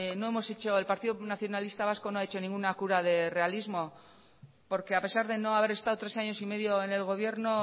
el partido nacionalista vasco no ha hecho ninguna cura de realismo porque a pesar de no haber estado tres años y medio en el gobierno